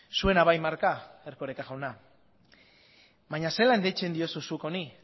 zuena bai marka erkoreka jauna baina zelan deitzen diozu zuk honi